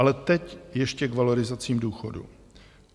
Ale teď ještě k valorizacím důchodů.